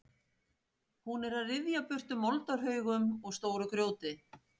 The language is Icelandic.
Hún er að ryðja burtu moldarhaugum og stóru grjóti.